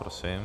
Prosím.